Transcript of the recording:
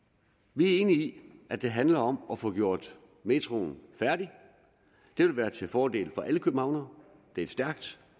vi er enige i at det handler om at få gjort metroen færdig det vil være til fordel for alle københavnere det er et stærkt